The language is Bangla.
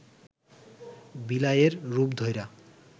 বিলাইয়ের রূপ ধইরা